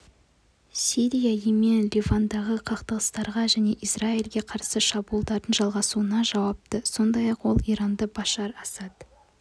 сирия йемен ливандағы қақтығыстарға және израильге қарсы шабуылдардың жалғасуына жауапты сондай-ақ ол иранды башар асад